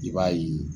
I b'a ye